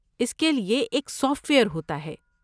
اس کے لیے ایک سافٹ ویئر ہوتا ہے۔